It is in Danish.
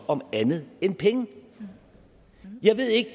om andet end penge jeg ved ikke